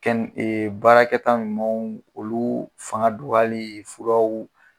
Baarakɛta ɲumanw olu fanga dɔgɔyali furaw